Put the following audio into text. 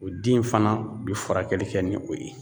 O den fana bi furakɛli kɛ ni o ye.